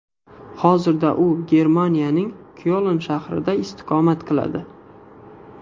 Hozirda u Germaniyaning Kyoln shahrida istiqomat qiladi.